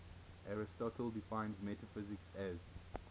aristotle defines metaphysics as